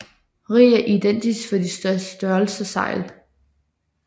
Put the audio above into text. Rig er identisk for de to størrelser sejl